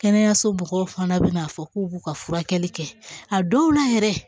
Kɛnɛyaso mɔgɔw fana bɛ n'a fɔ k'u b'u ka furakɛli kɛ a dɔw la yɛrɛ